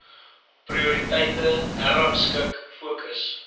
prioriteite herrangskik fokus